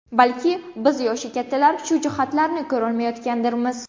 Balki, biz yoshi kattalar shu jihatlarni ko‘rmayotgandirmiz.